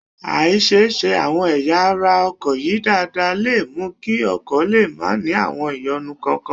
Àì ṣiṣẹ́ àwọn ẹ̀yà ara ọkọ̀ yìí dáadáa lè mú kí ọkọ̀ lè máa ní àwọn ìyọnu kọ̀ọ̀kan